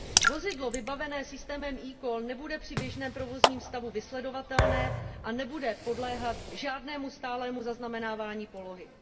Vozidlo vybavené systémem eCall nebude při běžném provozním stavu vysledovatelné a nebude podléhat žádnému stálému zaznamenávání polohy.